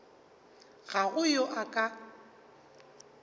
ga go yo a ka